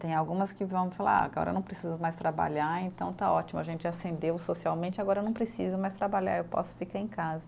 Tem algumas que vão falar, ah agora não preciso mais trabalhar, então está ótimo, a gente ascendeu socialmente, agora não preciso mais trabalhar, eu posso ficar em casa.